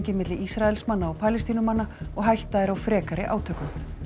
milli Ísraelsmanna og Palestínumanna og hætta er á frekari átökum